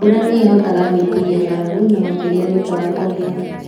Mbura nĩ ĩhotaga gwĩtiiria ng'aragu, na makĩria thutha wa kũgĩa